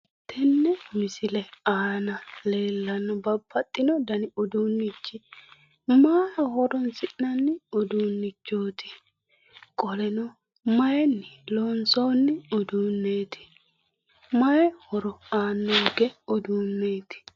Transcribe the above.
Tenne misile aana leellanno babbaxxino dani uduunnichi maaho horonsi'nanni uduunnichooti qoleno mayinni horonsii'noonni uduunnichooti ? Qoleno mayinni loonsoonni uduunneeti? Mayi horo aannonke uduunneeti?